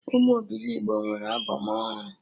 Ụmụ obilogbo nwee albọm ọhụrụ